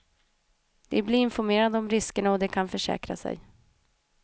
De blir informerade om risker och de kan försäkra sig.